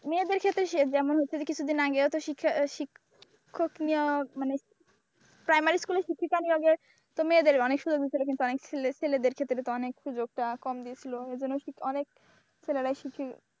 মেয়েদের ক্ষেত্রে সে যেমন হচ্ছে যে কিছুদিন আগেও তো শিক্ষক নিয়া মানে প্রাইমারি স্কুলের শিক্ষিকা নিয়োগের তো মেয়েদের অনেক সুযোগ দিয়েছিল কিন্তু অনেক ছেলেদের ক্ষেত্রে অনেক সুযোগটা কম দিয়েছিল, ওই জন্য অনেক ছেলেরাই শিক্ষিত।